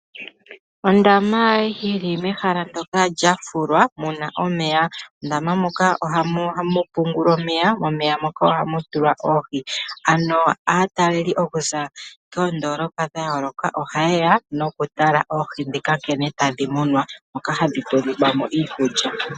Ondaama yi li mehala ndyoka lya fulwa mu na omeya. Mondama moka ohamu pungulwa omeya, momeya moka ohamu tulwa oohi. Aatalelipo okuza koondoolopa dha yooloka ohaye ya okutala oohi ndhoka nkene tadhi munwa, moka hadhi tulilwa mo iikulya.